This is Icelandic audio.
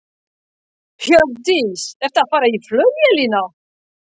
Hjördís: Ertu að fara í flugvélina?